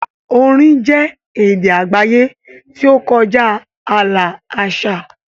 Orin jẹ́ èdè àgbáyé tí ó kọjá ààlà àṣà.